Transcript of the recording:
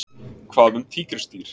Hvað um tígrisdýr?